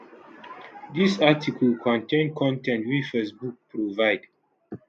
dis article contain con ten t wey facebook provide